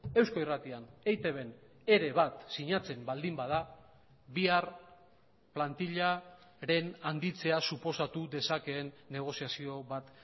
eusko irratian eitbn ere bat sinatzen baldin bada bihar plantilaren handitzea suposatu dezakeen negoziazio bat